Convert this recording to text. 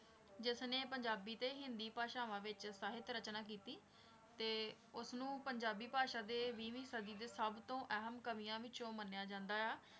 ਜਿਸਨੇ ਪੰਜਾਬੀ ਤੇ ਹਿੰਦੀ ਭਾਸ਼ਾਵਾਂ ਵਿੱਚ ਸਾਹਿਤ ਰਚਨਾ ਕੀਤੀ, ਤੇ ਉਸਨੂੰ ਪੰਜਾਬੀ ਭਾਸ਼ਾ ਦੇ ਵੀਹਵੀਂ ਸਦੀ ਦੇ ਸਭ ਤੋਂ ਅਹਿਮ ਕਵੀਆਂ ਵਿੱਚੋਂ ਮੰਨਿਆ ਜਾਂਦਾ ਆ।